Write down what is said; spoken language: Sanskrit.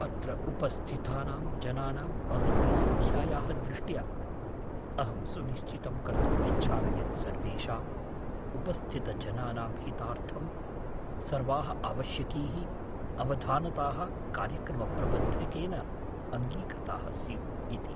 अत्र उपस्थितानां जनानां महती सङ्ख्यायाः दृष्ट्या, अहं सुनिश्चितं कर्तुम् इच्छामि यत् सर्वेषाम् उपस्थितजनानां हितार्थं सर्वाः आवश्यकीः अवधानताः कार्यक्रमप्रबन्धकेन अङ्गीकृताः स्युः इति।